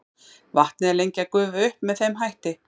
vatnið er lengi að gufa upp með þeim hætti